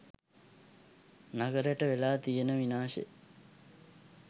නගරෙට වෙලා තියෙන විනාශෙ.